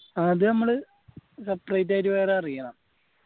അത് നമ്മള് separate ആയിട്ട് വേറെ അടക്കണം